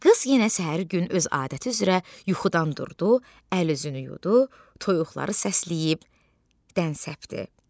Qız yenə səhər gün öz adəti üzrə yuxudan durdu, əl-üzünü yudu, toyuqları səsləyib dən səpdi.